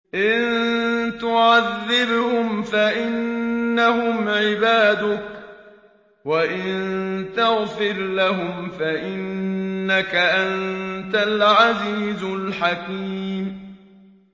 إِن تُعَذِّبْهُمْ فَإِنَّهُمْ عِبَادُكَ ۖ وَإِن تَغْفِرْ لَهُمْ فَإِنَّكَ أَنتَ الْعَزِيزُ الْحَكِيمُ